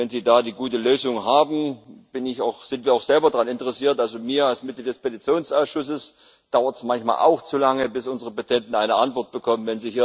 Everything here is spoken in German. Wenn Sie da eine gute Lösung haben, sind wir auch selber daran interessiert. Mir als Mitglied des Petitionsausschusses dauert es manchmal auch zu lange, bis unsere Petenten eine Antwort bekommen.